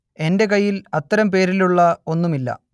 എന്റെ കയ്യിൽ അത്തരം പേരിലുള്ള ഒന്നും ഇല്ല